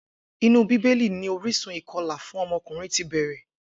Inú bíbélì ni orísun ìko̩là fún o̩mo̩kùnrin ti bè̩rè